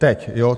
Teď, jo?